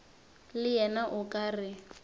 le yena o ka re